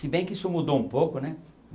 Se bem que isso mudou um pouco, né?